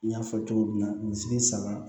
N y'a fɔ cogo min na misi saba